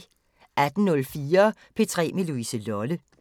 18:04: P3 med Louise Lolle